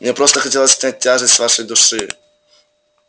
мне просто хотелось снять тяжесть с вашей души